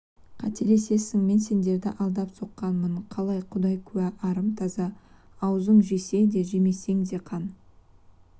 қателесесің мен сендерді алдап соққанмын қалай құдай куә арым таза аузың жесең де жемесең де қан